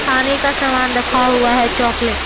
खाने का सामान रखा हुआ है चॉकलेट --